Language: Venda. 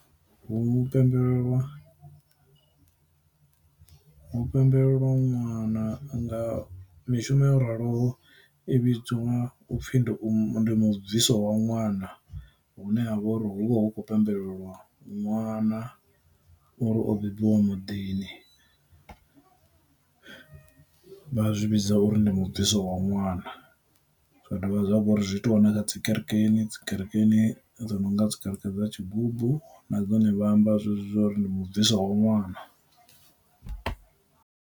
Hu pembelelwa, hu pembelelwa ṅwana nga mishumo yo raloho i vhidzwa upfhi ndi u mu ndi mu bviso wa ṅwana hune ha vha uri hu vha hu khou pembelelwa ṅwana uri o bebiwa muḓini, vha zwi vhidza uri ndi mu bviso wa ṅwana, zwa dovha zwavha uri zwi itiwa na kha dzi kerekeni dzi kerekeni dzi no nga dzi kerekeni dza tshigubu na dzone vha amba zwezwi zwa uri ndi mu bviso wa ṅwana.